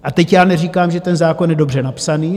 A teď já neříkám, že ten zákon je dobře napsaný.